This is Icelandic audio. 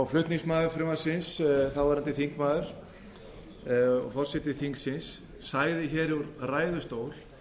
flutningsmaður frumvarpsins þáverandi þingmaður og forseti þingsins sagði úr ræðustól